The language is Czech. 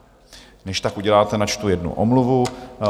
Než tak uděláte, načtu jednu omluvu.